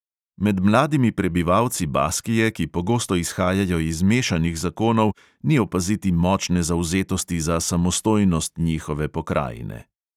Med mladimi prebivalci baskije, ki pogosto izhajajo iz mešanih zakonov, ni opaziti močne zavzetosti za samostojnost njihove pokrajine.